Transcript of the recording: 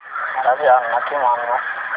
मला जालना ते मनमाड जाण्याकरीता रेल्वेगाडी दाखवा